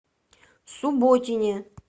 субботине